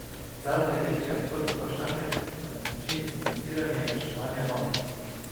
Zadnje večje odprto vprašanje pa je način financiranja reševanja bank.